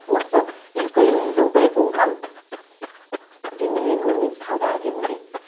осы екі жүз жылдай болған дүниенің мен салдары деп ойлаймын